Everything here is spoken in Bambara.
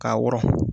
K'a wɔrɔn